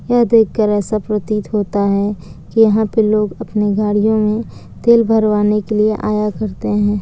यह देखकर ऐसा प्रतीत होता है कि यहां पर लोग अपने गाड़ियों में तेल भरवाने के लिए आया करते हैं।